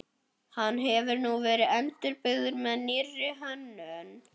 Hann hefur nú verið endurbyggður með nýrri hönnun.